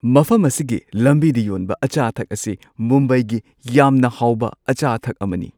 ꯃꯐꯝ ꯑꯁꯤꯒꯤ ꯂꯝꯕꯤꯗ ꯌꯣꯟꯕ ꯑꯆꯥ-ꯑꯊꯛ ꯑꯁꯤ ꯃꯨꯝꯕꯥꯏꯒꯤ ꯌꯥꯝꯅ ꯍꯥꯎꯕ ꯑꯆꯥ-ꯑꯊꯛ ꯑꯃꯅꯤ ꯫